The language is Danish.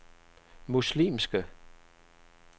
muslimske